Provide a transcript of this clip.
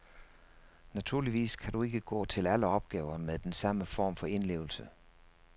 Naturligvis kan du ikke gå til alle opgaver med den samme form for indlevelse.